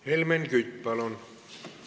Helmen Kütt, palun!